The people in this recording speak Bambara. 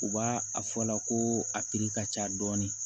U b'a a fɔla ko a ka ca dɔɔni